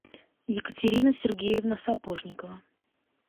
екатерина сергеевна сапожникова